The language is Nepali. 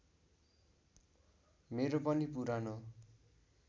मेरो पनि पुरानो